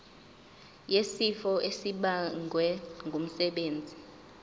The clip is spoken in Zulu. wesifo esibagwe ngumsebenzi